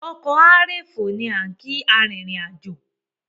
"ọkọ̀ á rè fò" ni á ń kìí arìnrìn-àjò